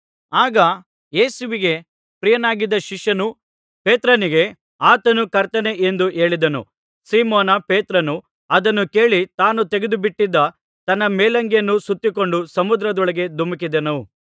ಆಗ ಯೇಸುವಿಗೆ ಪ್ರಿಯನಾಗಿದ್ದ ಶಿಷ್ಯನು ಪೇತ್ರನಿಗೆ ಆತನು ಕರ್ತನೇ ಎಂದು ಹೇಳಿದನು ಸೀಮೋನ್ ಪೇತ್ರನು ಅದನ್ನು ಕೇಳಿ ತಾನು ತೆಗೆದು ಬಿಟ್ಟಿದ್ದ ತನ್ನ ಮೇಲಂಗಿಯನ್ನು ಸುತ್ತಿಕೊಂಡು ಸಮುದ್ರದೊಳಗೆ ಧುಮುಕಿದನು